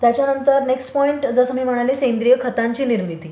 त्याच्यानंतर next point जसं मी म्हणाले सेंद्रिय खतांची निर्मिती.